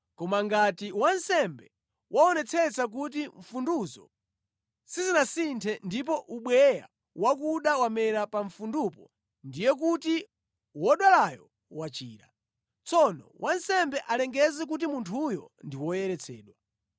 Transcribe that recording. Koma ngati wansembe waonetsetsa kuti mfunduzo sizinasinthe ndipo ubweya wakuda wamera pa mfundupo, ndiye kuti wodwalayo wachira. Tsono wansembe alengeze kuti munthuyo ndi woyeretsedwa.